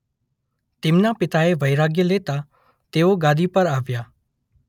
તેમના પિતાએ વૈરાગ્ય લેતાં તેઓ ગાદી પર આવ્યાં.